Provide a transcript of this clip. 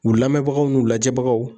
U lamɛnbagaw n'u lajɛbagaw